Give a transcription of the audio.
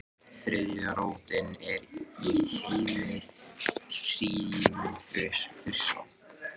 þriðja rótin er í heimi hrímþursa